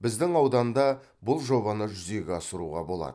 біздің ауданда бұл жобаны жүзеге асыруға болады